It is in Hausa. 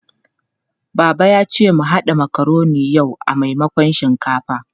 Baba ya ce mu haɗa makaroni yau a maimakon shinkafa.